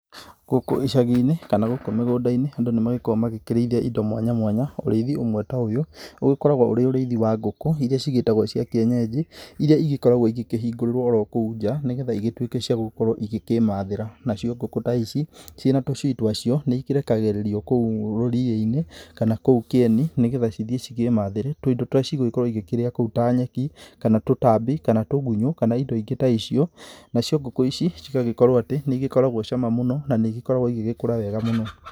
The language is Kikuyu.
Gũkũ icagi-inĩ kana gũkũ mĩgũnda-inĩ andũ nĩ magĩkoragwo makirĩithia indo mwanya mwanya. Ũrĩithi ũmwe ta ũyũ ũgĩkoragwo ũrĩ ũrĩithi wa ngũkũ, iria cigĩkoragwo cigĩtagwo cia kĩenyenji. Iria cigĩkoragwo ikĩhingũrĩrwo kũu nja nĩ getha igĩtuĩke cia gũgĩkorwo cikĩmathĩra. Nacio ngũkũ ta ici ciĩ na tũcui twacio nĩ ikĩrekagĩrĩrio kũu ũguo rũriĩ-inĩ kana kũu kĩeni nĩ getha cithiĩ cikĩmathĩre tũindo tũrĩa cigũgĩkorwo ikirĩa ta nyeki kana tũtambi kana tugunyũ kana indo ingĩ ta icio. Na cio ngũkũ ici cigagĩkorwo atĩ nĩ ikoragwo cama mũno na nĩ igĩkoragwo igĩgĩkũra wega mũno.